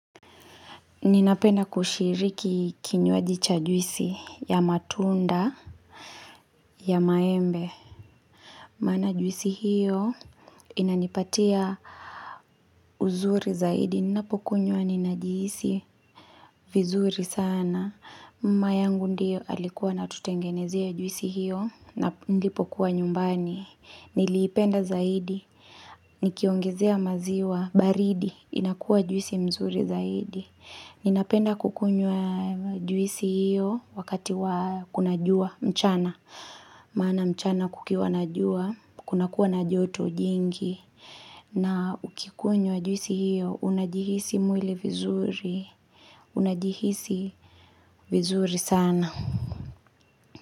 Ninapenda kushiriki kinywaji cha juisi ya matunda, ya maembe. Mana juisi hiyo inanipatia uzuri zaidi. Ninapokunywa ninajihisi vizuri sana. Mama yangu ndio alikuwa ana tutengenezea juisi hiyo nilipokuwa nyumbani. Niliipenda zaidi. Nikiongezea maziwa baridi. Inakua juisi mzuri zaidi. Ninapenda kukunywa juisi hiyo wakati kuna jua mchana. Mana mchana kukiwa na jua, kuna kuwa na joto jingi. Na ukikunywa juisi hiyo, unajihisi mwili vizuri. Unajihisi vizuri sana.